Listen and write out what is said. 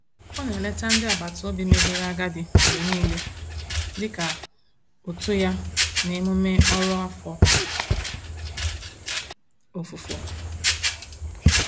Ọ na-eleta ndị agbataobi megoro agadi mgbe niile dị ka utu ya n'emume ọrụ afọ ofufo.